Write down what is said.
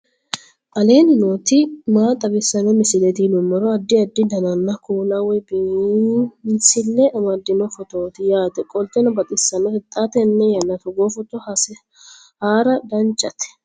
aleenni nooti maa xawisanno misileeti yinummoro addi addi dananna kuula woy biinsille amaddino footooti yaate qoltenno baxissannote xa tenne yannanni togoo footo haara danvchate